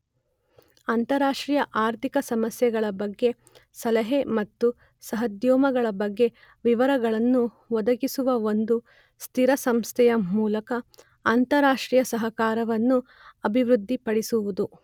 ಅಂತಾರಾಷ್ಟ್ರೀಯ ಆರ್ಥಿಕ ಸಮಸ್ಯೆಗಳ ಬಗ್ಗೆ ಸಲಹೆ ಮತ್ತು ಸಹೋದ್ಯಮಗಳ ಬಗ್ಗೆ ವಿವರಗಳನ್ನು ಒದಗಿಸುವ ಒಂದು ಸ್ಥಿರ ಸಂಸ್ಥೆಯ ಮೂಲಕ ಅಂತಾರಾಷ್ಟ್ರೀಯ ಸಹಕಾರವನ್ನು ಅಭಿವೃದ್ಧಿಪಡಿಸುವುದು.